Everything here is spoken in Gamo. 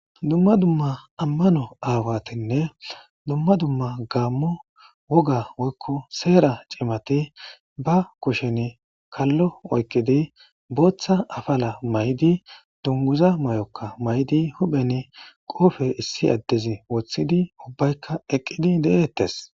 dumma dumma ammano aawatinne dumma dumma gaammu woga woykko seera cimati ba kushen kallo oyqidi booththa afala may7di dunguza may7okka may7di huphen qoofe issi addezi woththidi ubbaykka eqqidi de7eettes